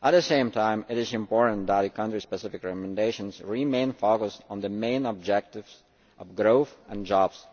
At the same time, it is important that country specific recommendations remain focused on the main objectives of growth and jobs.